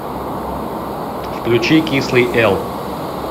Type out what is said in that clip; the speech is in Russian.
включи кислый эл